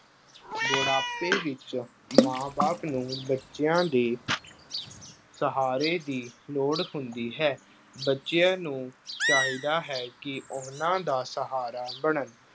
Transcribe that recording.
ਬੁਢਾਪੇ ਵਿੱਚ ਮਾਂ ਬਾਪ ਨੂੰ ਬੱਚਿਆਂ ਦੇ ਸਹਾਰੇ ਦੀ ਲੋੜ ਹੁੰਦੀ ਹੈ। ਬੱਚਿਆਂ ਨੂੰ ਚਾਹੀਦਾ ਹੈ ਕਿ ਉਹਨਾਂ ਦਾ ਸਹਾਰਾ ਬਣਨ।